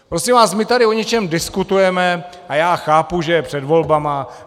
Prosím vás, my tady o něčem diskutujeme - a já chápu, že je před volbami.